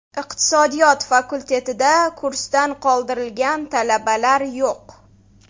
Iqtisodiyot fakultetida kursdan qoldirilgan talabalar yo‘q.